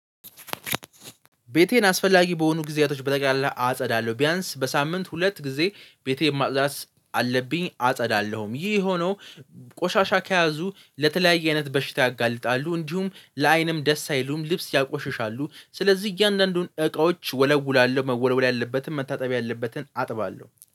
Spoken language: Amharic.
ቤቴን አስፈላጊ በሆኑ ጊዜያቶች በተቀላቀል አጸዳለሁ ቢያንስ በሳምንት ሁለት ጊዜ ቤቴ ማጥፅዳት አለብኝ። አጸዳለሁም ይህ ሆኖ ቆሻሻ ከያዙ ለተለያየ አይነት በሽታ ያጋልጣሉ እንዲሁም ለአይንም ደስ አይሉም። ልብስ ያቆሽሻሉ ስለዚህ እያንዳንዱን እቃዎች እወለውላለሁ መወለወል ያለበትም መታጠቢ ያለበትን አጥባለሁ